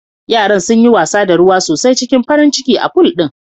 Yaran sunyi wasa da ruwa sosai cikin farin ciki a pool din